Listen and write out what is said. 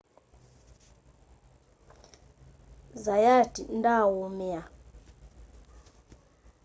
zayat ndaaumia